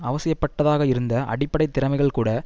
அவசியப்பட்டதாக இருந்த அடிப்படை திறமைகள் கூட